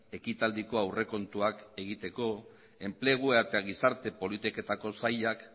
ekitaldiko aurrekontuak egiteko enplegua eta gizarte eta politiketako sailek